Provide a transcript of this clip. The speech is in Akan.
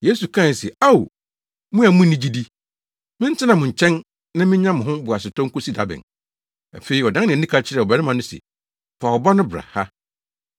Yesu kae se, “Ao! Mo a munni gyidi, mentena mo nkyɛn na minnya mo ho boasetɔ nkosi da bɛn!” Afei, ɔdan nʼani ka kyerɛɛ ɔbarima no se, “Fa wo ba no bra ha.”